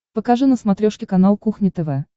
покажи на смотрешке канал кухня тв